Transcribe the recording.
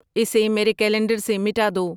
اسے میرے کیلنڈر سے مٹا دو